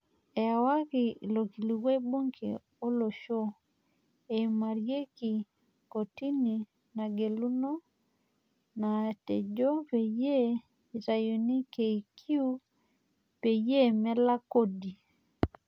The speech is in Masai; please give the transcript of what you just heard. Ewaki ilokilikuai bunge olosho eimariaki komitii nageluno, naatejo peyie eitayuni KQ peyie melak kodi.